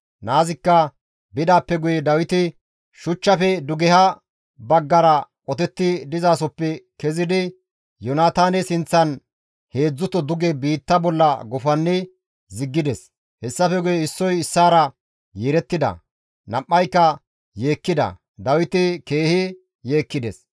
Naazikka bidaappe guye Dawiti shuchchafe dugeha baggara qotetti dizasoppe kezidi Yoonataane sinththan heedzdzuto duge biitta bolla gufanni ziggides. Hessafe guye issoy issaara yeerettida; nam7ayka yeekkida; Dawiti keehi yeekkides.